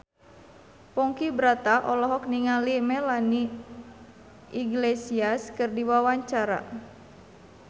Ponky Brata olohok ningali Melanie Iglesias keur diwawancara